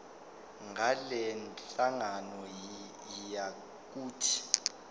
ngalenhlangano yiya kut